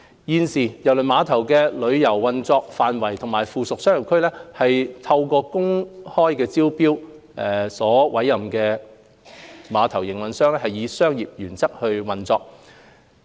現時，郵輪碼頭的郵輪運作範圍及附屬商業區是透過公開招標所委任的碼頭營運商以商業原則運作。